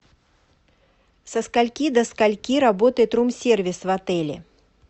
со скольки до скольки работает рум сервис в отеле